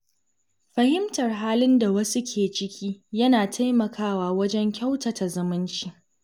Fahimtar halin da wasu ke ciki yana taimakawa wajen kyautata zumunci.